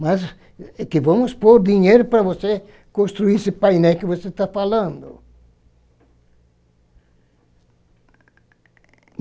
Mas, que vamos pôr dinheiro para você construir esse painel que você está falando.